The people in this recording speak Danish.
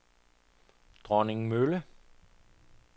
Dronningmølle